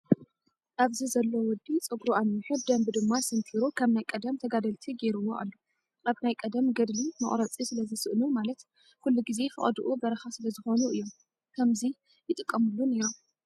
ኣብዚ ዘሎ ወዲ ፀጉሪ ኣንዊሑ ብደንቢ ድማ ሰንቲሩ ከም ናይ ቀደም ተጋደልቲ ገይርዎ ኣሎ። ኣብ ናይ ቀደም ገድሊ መቁረፂ ስለዝስእኑ ማለት ኩሉ ግዜ ፈቀድኡ በረካ ስለዝኮኑ እዮም ከምዙ ይጥቀምሉ ነይሮም።